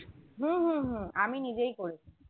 হম হম হম আমি নিজেই করেছি